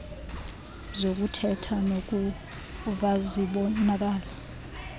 zokuthetha nokuva zibonakala